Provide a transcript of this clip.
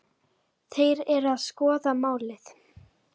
Þeir eru að skoða málið.